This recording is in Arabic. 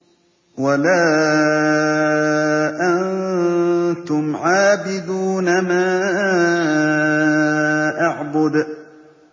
وَلَا أَنتُمْ عَابِدُونَ مَا أَعْبُدُ